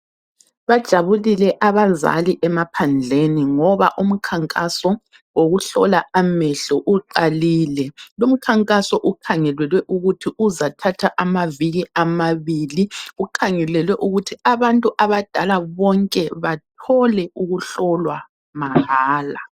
Bajabulile abazali emaphandleni ngoba umkhankaso wokuhlola amehlo uqalile. Lumkhankaso ukhangelelwe ukuthi uzathatha amaviki amabili, ukhangelelwe ukuthi abantu abadala bonke bathole ukuhlolwa mahala.